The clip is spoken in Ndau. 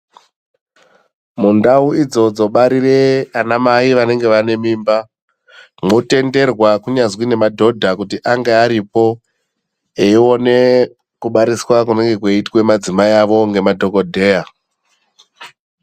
Mundau idzo dzobarire anamai vanenge vane mimba mwotenderwa kunyazwi nemadhodha kuti ange aripo eione kubariswa kunenge kweiitwe madzimai avo ngemadhokodheya.